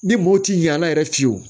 Ni mɔw ti ɲɛ a la yɛrɛ fiyewu